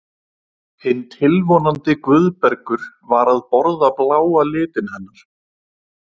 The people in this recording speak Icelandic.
Hinn tilvonandi Guðbergur var að borða bláa litinn hennar.